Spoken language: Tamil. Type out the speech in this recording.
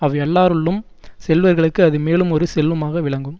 அவ் எல்லாருள்ளும் செல்வர்களுக்கு அது மேலும் ஒரு செல்வமாக விளங்கும்